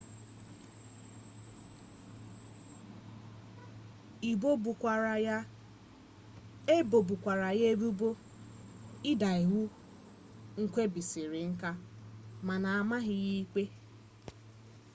ebobukwara ya ebubo ịda iwu nwebisiinka mana amaghị ya ikpe